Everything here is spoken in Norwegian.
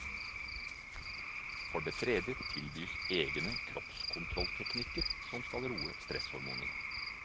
For det tredje tilbys egne kroppskontrollteknikker som skal roe stresshormonene.